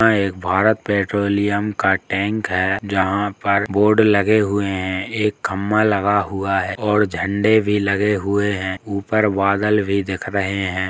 वहाँ एक भारत पेट्रोलियम का टैंक है जहाँ पर बोर्ड लगे हुए हैं एक खंभा लगा हुआ है और झंडे भी लगे हुए हैं ऊपर वादल भी दिख रहे हैं।